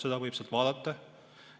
Seda võib sealt vaadata.